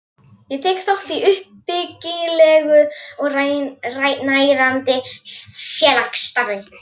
Ég tek þátt í uppbyggilegu og nærandi félagsstarfi.